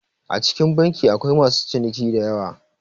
A cikin banki akwai masu ciniki diyawa